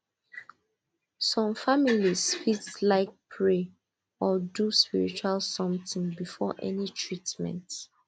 some families fit like pray or do spiritual something before any treatment